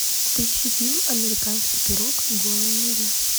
поищи фильм американский пирог голая миля